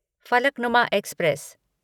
Falaknuma express